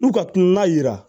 N'u ka kilina yira